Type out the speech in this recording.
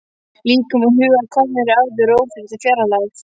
Líkami og hugur komnir í áður óþekkta fjarlægð.